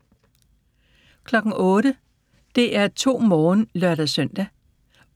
08:00: DR2 Morgen (lør-søn)